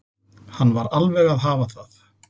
Hann var alveg að hafa það.